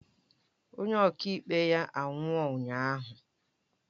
Onye ọkaikpe ya anwụọ ụnyahụ